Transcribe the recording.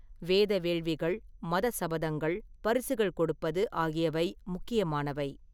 வேத வேள்விகள், மதச் சபதங்கள், பரிசுகள் கொடுப்பது ஆகியவை முக்கியமானவை.